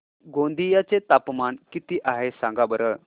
गोंदिया चे तापमान किती आहे सांगा बरं